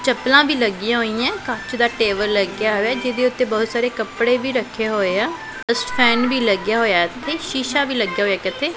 ਚੱਪਲਾਂ ਵੀ ਲੱਗੀਆਂ ਹੋਈਆਂ ਕੱਚ ਦਾ ਟੇਬਲ ਵੀ ਲੱਗਿਆ ਹੋਇਐ ਜਿਹਦੇ ਉੱਤੇ ਬਹੁਤ ਸਾਰੇ ਕੱਪੜੇ ਵੀ ਰੱਖੇ ਹੋਏ ਆ ਐਗਜ਼ਾਸਟ ਫੇਨ ਵੀ ਲੱਗਿਆ ਹੋਇਐ ਇੱਥੇ ਸ਼ੀਸ਼ਾ ਵੀ ਲੱਗਿਆ ਹੋਇਐ ਇੱਕ ਇੱਥੇ।